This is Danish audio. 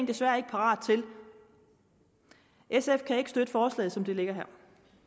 desværre ikke parat til sf kan ikke støtte forslaget som det ligger her